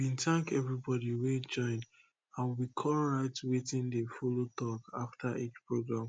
we bin thank everybody wey join and we com write wetin dey follow talk after each program